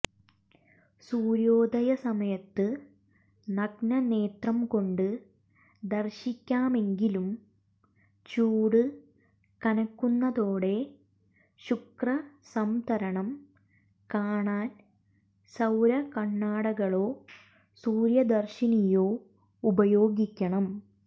സൂര്യോദയ സമയത്ത് നഗ്നനേത്രംകൊണ്ട് ദർശിക്കാമെങ്കിലും ചൂട് കനക്കുന്നതോടെ ശുക്രസംതരണം കാണാൻ സൌര കണ്ണടകളോ സൂര്യ ദർശിനിയോ ഉപയോഗിക്കണം